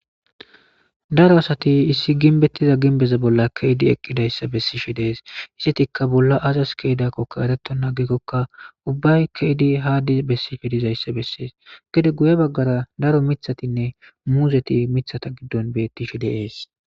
daro asati issi ginbettiza ginbeza bolla keydi eqqidayssa bessishi dees issetikka bolla azas keedakkokka ereto naagikkokka ubbay keydi haadi bessifi dizayssa bessees gede guye baggara daro mithatinne muuzeti mithata giddon bettishi deees